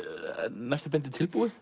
næsta bindi tilbúið